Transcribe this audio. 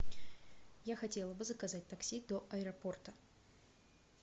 я хотела бы заказать такси до аэропорта